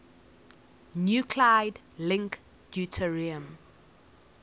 nuclide link deuterium